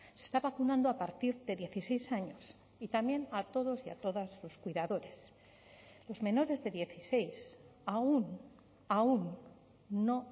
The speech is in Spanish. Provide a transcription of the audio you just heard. se está vacunando a partir de dieciséis años y también a todos y a todas sus cuidadores los menores de dieciséis aun aun no